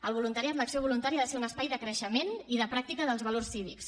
el voluntariat l’acció voluntària ha de ser un espai de creixement i de pràctica dels valors cívics